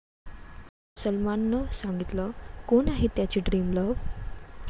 सलमाननं सांगितलं कोण आहे त्याची ड्रीमलव्ह?